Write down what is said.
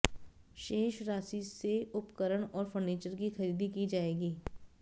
शेष राशि से उपकरण और फर्नीचर की खरीदी की जाएगी